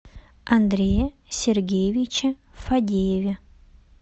андрее сергеевиче фадееве